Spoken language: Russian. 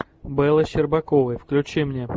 белла щербаковой включи мне